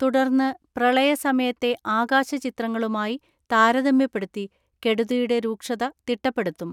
തുടർന്ന് പ്രളയ സമയത്തെ ആകാശചിത്രങ്ങളുമായി താരതമ്യപ്പെടുത്തി കെടു തിയുടെ രൂക്ഷത തിട്ടപ്പെടുത്തും.